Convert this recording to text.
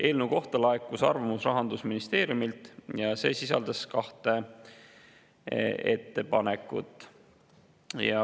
Eelnõu kohta laekus arvamus Rahandusministeeriumilt ja see sisaldas kahte ettepanekut.